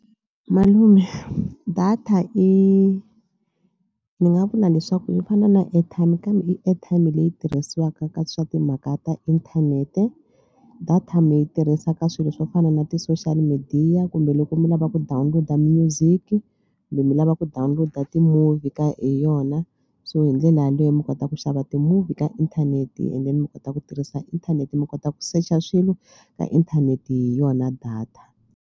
Malume data i ni nga vula leswaku swi fana na airtime kambe i airtime leyi tirhisiwaka ka swa timhaka ta inthanete. Data mi yi tirhisa ka swilo swo fana na ti-social media kumbe loko mi lava ku download-a music kumbe mi lava ku download-a ti-movie ka hi yona so hi ndlela yaleyo mi kota ku xava ti-movie ka inthanete and then mi kota ku tirhisa inthanete mi kota ku secha swilo ka inthanete hi yona data.